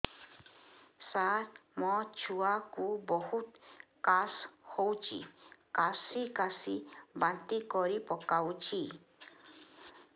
ସାର ମୋ ଛୁଆ କୁ ବହୁତ କାଶ ହଉଛି କାସି କାସି ବାନ୍ତି କରି ପକାଉଛି